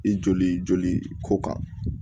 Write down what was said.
I joli joli ko kan